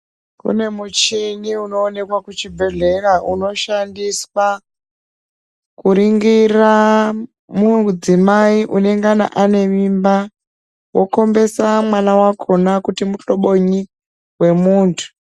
Kune muchini unooneka kuchibhendlera unoshandiswa kuringira mudzimai unengana une mimba wokhombesa mwana wakhona kuti muhlobonyi wemuntu.